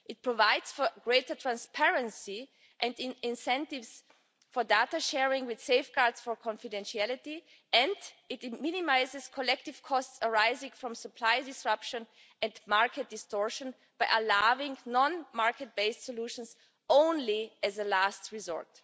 It provides for greater transparency and incentives for data sharing, with safeguards for confidentiality, and it minimises collective costs arising from supply disruption and market distortion by allowing non market based solutions only as a last resort.